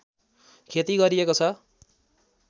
खेती गरिएको छ